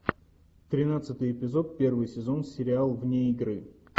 тринадцатый эпизод первый сезон сериал вне игры